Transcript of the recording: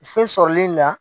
fɛn sɔrɔli la.